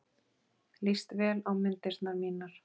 Líst vel á myndirnar mínar.